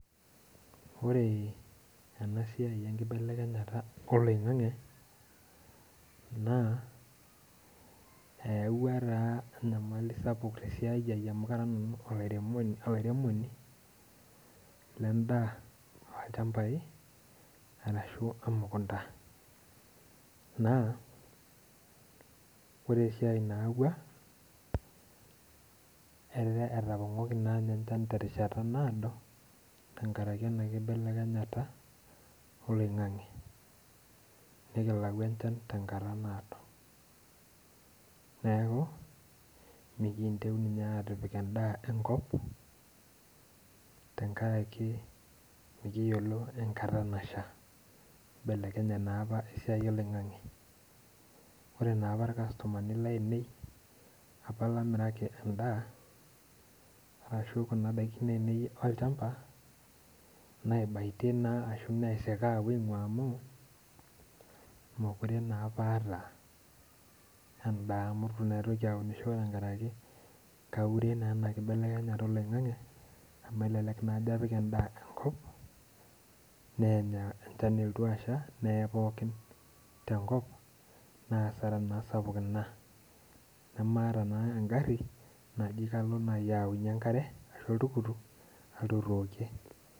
Ore ena siai enkibelekenyata oloingange naa eyaua taa enyamali sapuk tesiai ai amu Kara nanu olairemoni lendaa ilchampai, orashu emukunta naa ore esiai nayaua naa etapongoki enchan terishata naado tenkaraki ena kibelenyata oloingange .nikilau endaa tenkata naado ,neeku mikiintieu ninye atipik endaa enkop tenkaraki mikiyiolo enkata nasha .amu eibelekenya naa esiai oloingange ,ore naapa irkastomani lainei apa lamiraki endaa ashu Kuna daikin ainei olchampa naibatie naa ashu naisika aingua amu mookure naapa aata enda nkaraki eitu aitoki aunisho amu nkaraki kaure naa ena kibelekenyata oloingange amu elelek naa ajo apik endaa enkop neenyu elotu asha ,neee pookin tenkop naa asara naa sapukin ina .nemata naa engari ashu oltukutuk nalo ayaunyie enkare nalotu aitookie.